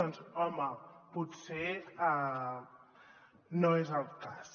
doncs home potser no és el cas